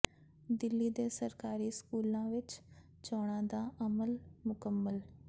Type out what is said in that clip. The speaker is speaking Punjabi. ਦਿੱਲੀ ਦੇ ਸਰਕਾਰੀ ਸਕੂਲਾਂ ਵਿੱਚ ਚੋਣਾਂ ਦਾ ਅਮਲ ਮੁਕੰਮਲ